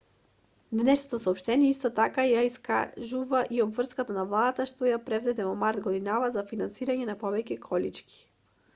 денешното соопштение исто така ја искажува и обврската на владата што ја презеде во март годинава за финансирање на повеќе колички